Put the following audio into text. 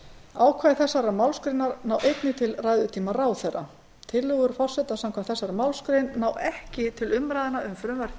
ákvæði þessarar málsgreinar ná einnig til ræðutíma ráðherra tillögur forseta samkvæmt þessari málsgrein ná ekki til umræðna um frumvörp til